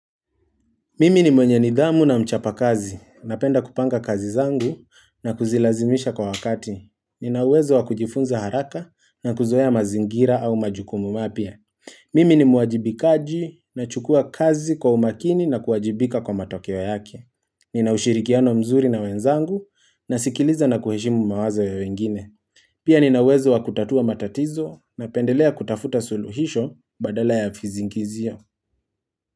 Mimi ni mwenye nidhamu na mchapa kazi. Napenda kupanga kazi zangu na kuzilazimisha kwa wakati. Ninawezo wakujifunza haraka na kuzoya mazingira au majukumu mapia. Mimi ni muajibikaji na chukua kazi kwa umakini na kuajibika kwa matokyo yake. Ninaushirikiano mzuri na wenzangu na sikiliza na kuheshimu mawazo ya wengine. Pia ninauwezo wakutatua matatizo na pendelea kutafuta suluhisho badala ya fizingizio.